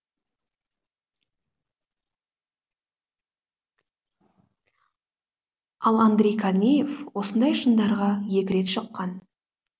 ал андрей корнеев осындай шыңдарға екі рет шыққан